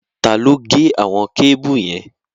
Taló gé àwon kébù yẹn?